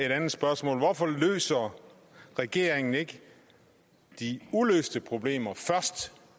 et andet spørgsmål hvorfor løser regeringen ikke de uløste problemer først